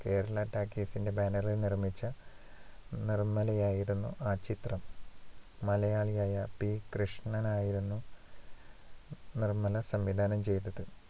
Kerala talkies ഇന്‍റെ banner ഇല്‍ നിർമ്മിച്ച നിർമ്മലയായിരുന്നു ആ ചിത്രം. മലയാളിയായ പി. വി. കൃഷ്ണനായിരുന്നു നിർമ്മല സംവിധാനം ചെയ്തത്.